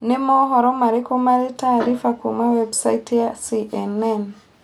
nĩ mohoro marĩku marĩ taariba kuuma website ya c.n.n